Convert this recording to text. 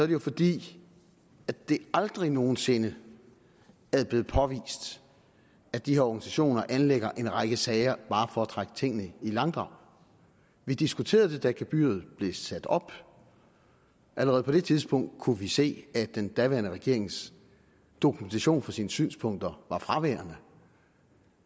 det jo fordi det aldrig nogen sinde er blevet påvist at de her organisationer anlægger en række sager bare for at trække tingene i langdrag vi diskuterede det da gebyret blev sat op allerede på det tidspunkt kunne vi se at den daværende regerings dokumentation for sine synspunkter var fraværende